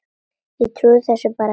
Ég trúði þessu bara ekki.